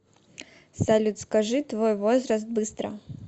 салют скажи твой возраст быстро